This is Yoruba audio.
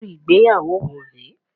Irú ìgbéyàwó wo rè é?